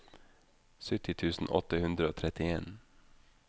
sytti tusen åtte hundre og trettien